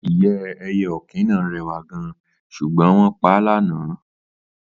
Ìyẹ́ ẹyẹ òkín náà rèwà gan, ṣugbọn wón pa l'ana